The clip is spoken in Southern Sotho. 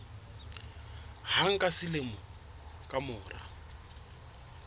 hang ka selemo ka mora